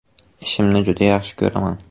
Ishimni juda yaxshi ko‘raman.